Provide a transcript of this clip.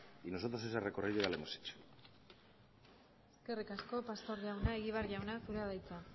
y nosotros ese recorrido ya lo hemos hecho eskerrik asko pastor jauna egibar jauna zurea da hitza